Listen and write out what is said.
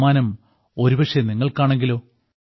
സമ്മാനം ഒരുപക്ഷേ നിങ്ങൾക്കാണെങ്കിലോ